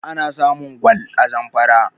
ana samun gwal a zamfara